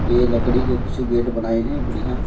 ये लकड़ी के कुछ गेट बनाइन है बढ़िया --